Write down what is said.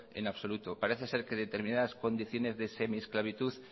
en absoluto parece ser que determinadas condiciones de semiesclavitud